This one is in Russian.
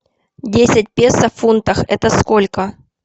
десять песо в фунтах это сколько